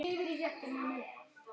Hann var yndið okkar.